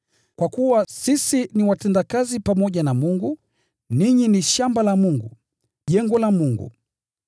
Kwa kuwa sisi tu watendakazi pamoja na Mungu. Ninyi ni shamba la Mungu, jengo la Mungu.